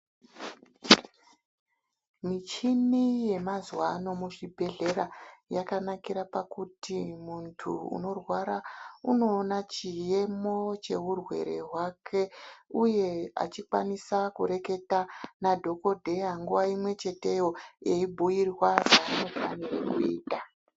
Michini yemazuva ano muzvibhedhlera yakanakira pakuti muntu unorwara unoona chiyemo cheurwere hwake, Uye achikwanisa kureketa nadhokodheya nguva imwecheteyo eibhuyirwa zvaanofanire kuita.